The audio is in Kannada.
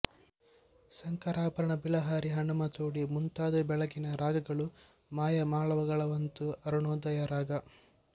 ಶಂಕರಾಭರಣ ಬಿಲಹರಿ ಹನುಮತೋಡಿ ಮುಂತಾದವು ಬೆಳಗಿನ ರಾಗಗಳು ಮಾಯಾಮಾಳವಗೌಳವಂತೂ ಅರುಣೋದಯದ ರಾಗ